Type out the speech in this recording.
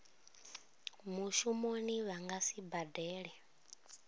mushumoni vha nga si badele